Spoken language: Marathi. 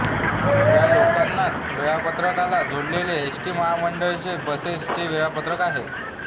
या लोकलच्या वेळापत्रकला जोडलेले एस्टी महामंडळाच्या बसेस चे वेळापत्रक आहे